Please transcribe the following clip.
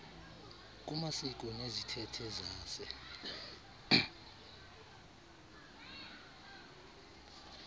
kumasiko nezithethe zase